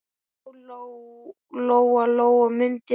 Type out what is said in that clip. Já, Lóa-Lóa mundi það.